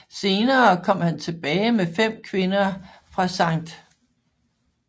Senere kom han tilbage med fem kvinder fra St